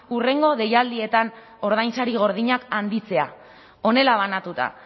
hurrengo deialdietan ordainsari gordinak handitzea honela banatuta